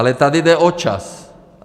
Ale tady jde o čas.